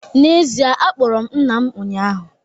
N’ezie, akpọrọ m nna m ụnyahụ